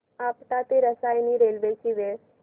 आपटा ते रसायनी रेल्वे ची वेळ